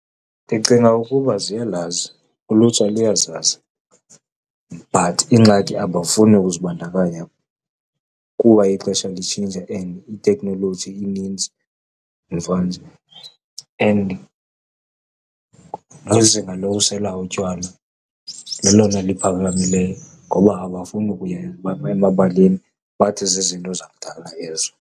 Ndicinga ukuba ziyalazi, ulutsha luyazazi but ingxaki abafuni ukuzibandakanya kuba ixesha litshintsha and iteknoloji inintsi mvanje. And nezinga lokusela utywala lelona liphakamileyo ngoba abafuni ukuya emabaleni, bathi zizinto zakudala ezo.